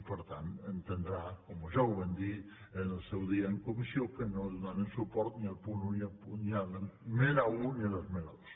i per tant entendrà com ja vam dir al seu dia en comissió que no donarem suport ni a l’esmena un ni a l’esmena dos